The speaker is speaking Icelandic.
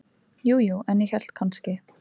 Ja, jú, en ég hélt kannski.